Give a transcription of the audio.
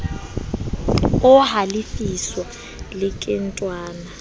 o halefiswa le ke dinthwana